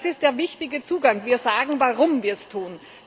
Das ist der richtige Zugang Wir sagen, warum wir es tun.